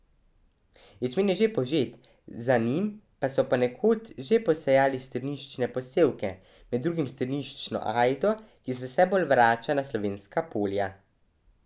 Ječmen je že požet, za njim pa so ponekod že posejali strniščne posevke, med drugim strniščno ajdo, ki se vse bolj vrača na slovenska polja.